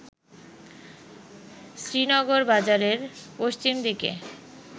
শ্রীনগর বাজারের পশ্চিম দিকে